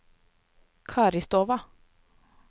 Karistova